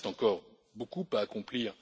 Il reste encore beaucoup à accomplir.